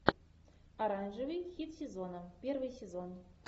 оранжевый хит сезона первый сезон